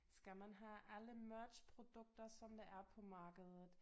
Skal man have alle merch produkter som der er på markedet